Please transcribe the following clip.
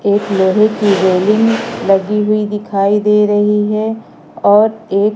एक लोहे की रेलिंग लगी हुई दिखाई दे रही है और एक--